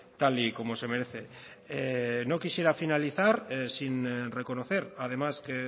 tal y como se merece no quisiera finalizar sin reconocer además que